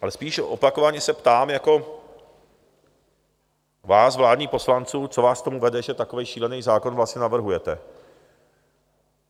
Ale spíš opakovaně se ptám jako vás, vládních poslanců, co vás k tomu vede, že takový šílený zákon vlastně navrhujete?